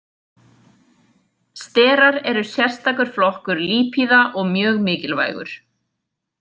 Sterar eru sérstsakur flokkur lípíða og mjög mikilvægur.